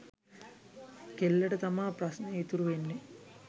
කෙල්ලට තමා ප්‍රශ්නය ඉතුරු වෙන්නේ.